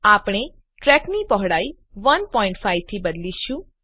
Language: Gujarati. આપણે ટ્રેકની પહોળાઈ 15 થી બદલીશું